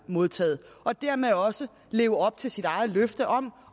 modtaget og dermed også leve op til sit eget løfte om